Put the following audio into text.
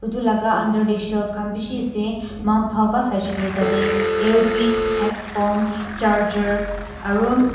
etu laga under teh shelf khan bishi ase mahan bhal pa saishe kuilee tate earpiece headphone charger aru --